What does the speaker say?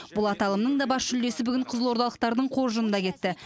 бұл аталымның да бас жүлдесі бүгін қызылордалықтардың қоржынында кетті